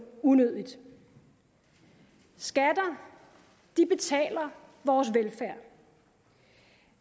unødigt skatter betaler vores velfærd